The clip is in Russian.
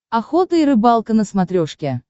охота и рыбалка на смотрешке